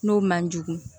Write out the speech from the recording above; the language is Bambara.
N'o man jugu